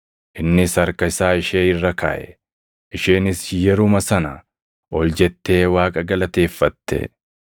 Innis harka isaa ishee irra kaaʼe; isheenis yeruma sana ol jettee Waaqa galateeffatte.